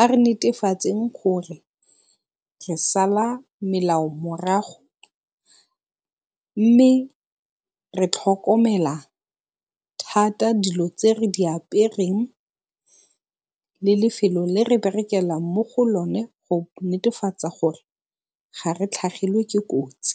A re netefatseng gore re sala melao morago mme re tlhokomela thata dilo tse re di apereng le lefelo le re berekelang mo go lone go netefatsa gore ga re tlhagelwe ke kotsi.